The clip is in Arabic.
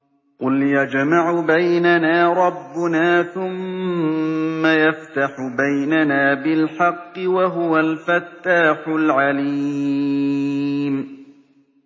قُلْ يَجْمَعُ بَيْنَنَا رَبُّنَا ثُمَّ يَفْتَحُ بَيْنَنَا بِالْحَقِّ وَهُوَ الْفَتَّاحُ الْعَلِيمُ